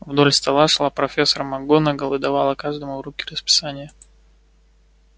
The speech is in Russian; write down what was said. вдоль стола шла профессор макгонагалл и давала каждому в руки расписание